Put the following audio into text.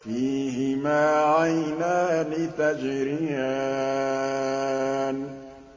فِيهِمَا عَيْنَانِ تَجْرِيَانِ